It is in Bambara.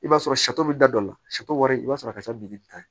I b'a sɔrɔ bɛ da dɔ la wari i b'a sɔrɔ a ka ca bi ni tan ye